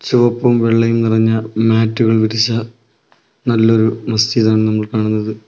ചുവപ്പും വെള്ളയും നിറഞ്ഞ മാറ്റുകൾ വിരിച്ച് നല്ലൊരു മസ്ജിദ് ആണ് നമ്മൾ കാണുന്നത്.